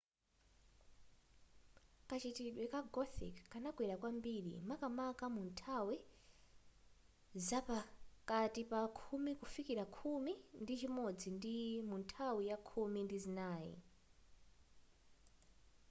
kachitidwe ka gothic kanakwera kwambiri makamaka munthawi zapakati pa khumi kufikila khumi ndi chimodzi ndi munthawi ya khumi ndi zinayi